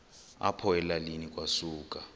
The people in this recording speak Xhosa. apho elalini kwasuka